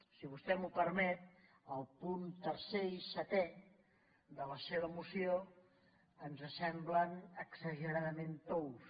si vostè m’ho permet el punt tercer i setè de la seva moció ens semblen exageradament tous